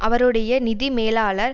அவருடைய நிதி மேலாளர்